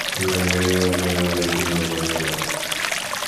E nwere imerime mpụ na - enweghị isi na ọdụ e meworo.